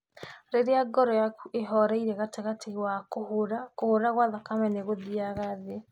Rĩrĩa ngoro yaku ĩhoreire gatagatĩ wa kũhũra, kũhũra kwa thakame nĩ gũthiaga thĩ.